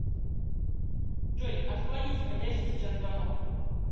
джой отклонить входящий сейчас звонок